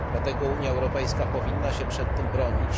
Dlatego Unia Europejska powinna się przed tym bronić.